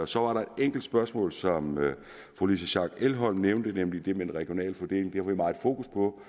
så var der et enkelt spørgsmål som fru louise schack elholm nævnte nemlig det med den regionale fordeling vi meget fokus på